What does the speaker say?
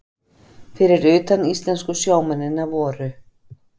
Fyrir utan íslensku sjómennina voru